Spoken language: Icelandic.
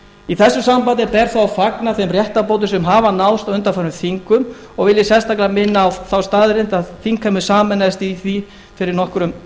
í þessu sambandi ber þó að fagna þeim réttarbótum sem hafa náðst á undanförnum þingum og vil ég sérstaklega minna á þá staðreynd að þingheimur sameinaðist í því fyrir nokkrum